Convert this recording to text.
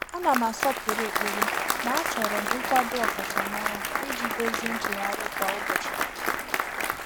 Ànà m àsọ́pụ́rụ́ ékpèré mà àchọ́rọ m nkwàdò ọkàchàmárá ìjí dòzìé nchéghárị́ kwá ụ́bọ̀chị̀.